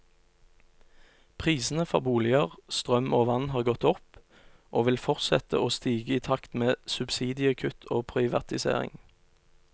Prisene for boliger, strøm og vann har gått opp, og vil fortsette å stige i takt med subsidiekutt og privatisering.